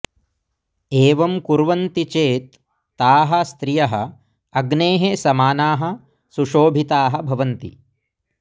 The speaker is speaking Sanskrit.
एवं कुर्वन्ति चेत् ताः स्त्रियः अग्नेः समानाः सुशोभिताः भवन्ति